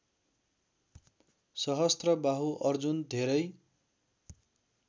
सहस्त्रबाहु अर्जुन धेरै